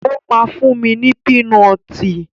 Ó máa fún mi ní pínọtì.